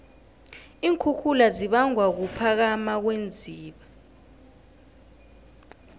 iinkhukhula zibangwa kuphakama kweenziba